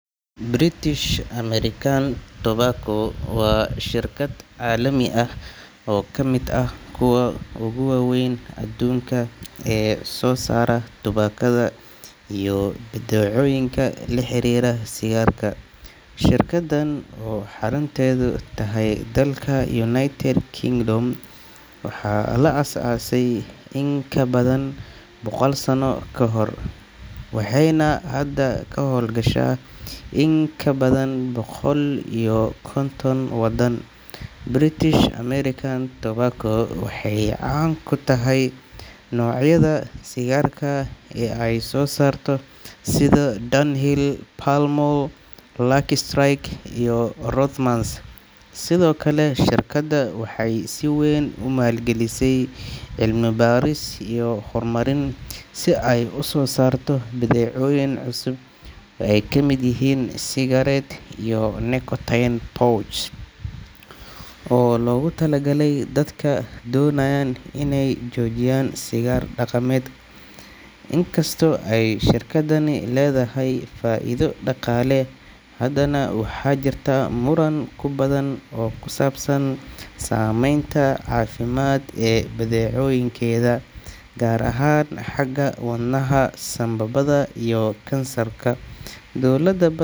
British American Tobacco waa shirkad caalami ah oo ka mid ah kuwa ugu waaweyn adduunka ee soo saara tubaakada iyo badeecooyinka la xiriira sigaarka. Shirkaddan oo xarunteedu tahay dalka United Kingdom, waxaa la aasaasay in ka badan boqol sano ka hor, waxayna hadda ka hawlgashaa in ka badan boqol iyo konton waddan. British American Tobacco waxay caan ku tahay noocyada sigaarka ee ay soo saarto sida Dunhill, Pall Mall, Lucky Strike iyo Rothmans. Sidoo kale, shirkaddu waxay si weyn u maalgelisaa cilmi-baaris iyo horumarin si ay u soo saarto badeecooyin cusub oo ay ka mid yihiin e-cigarettes iyo nicotine pouches oo loogu talagalay dadka doonaya inay joojiyaan sigaarka dhaqameed. Inkastoo ay shirkaddani leedahay faa’iido dhaqaale, haddana waxaa jirta muran badan oo ku saabsan saameynta caafimaad ee badeecooyinkeeda, gaar ahaan xagga wadnaha, sambabada iyo kansarka. Dowlado badan.